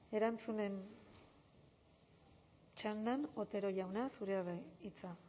erantzunen txandan otero jauna zurea da hitza